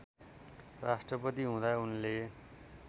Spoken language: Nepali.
राष्ट्रपति हुँदा उनले